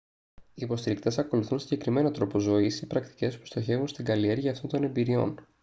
οι υποστηρικτές ακολουθούν συγκεκριμένο τρόπο ζωής ή πρακτικές που στοχεύουν στην καλλιέργεια αυτών των εμπειριών